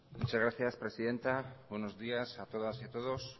muchas gracias presidenta buenos días a todas y a todos